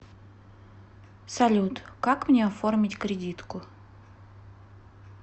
салют как мне оформить кредитку